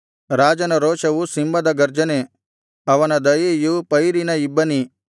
ರಾಜನ ರೋಷವು ಸಿಂಹದ ಗರ್ಜನೆ ಅವನ ದಯೆಯು ಪೈರಿನ ಇಬ್ಬನಿ